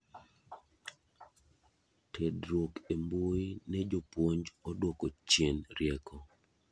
tudruok e mbuyi ne jopuonj oduoko chien rieko